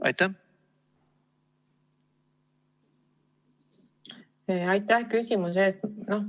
Aitäh küsimuse eest!